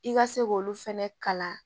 I ka se k'olu fɛnɛ kalan